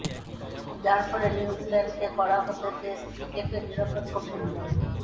যার ফলে নিউজিল্যান্ডকে করা হতে টেস্ট ক্রিকেটের নিরপেক্ষ ভেন্যু